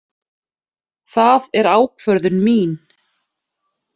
Það er ákvörðun mín.